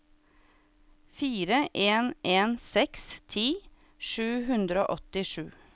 fire en en seks ti sju hundre og åttisju